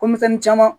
Ko misɛnnin caman